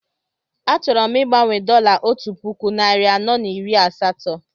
Achọrọ m igbanwe dọla otu puku narị anọ na iri asatọ